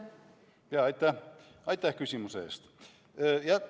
Aitäh küsimuse eest!